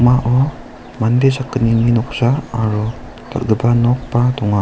mande sakgnini noksa aro dal·gipa nokba donga.